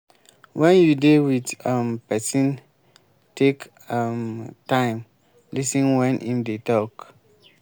when you dey with um person take um time um lis ten when im dey talk